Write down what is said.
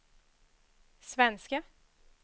svenske